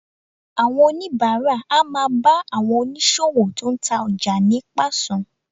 Àwọn oníbàárà á máa bá àwọn oníṣòwò tó ń ta ọjà ní pàṣán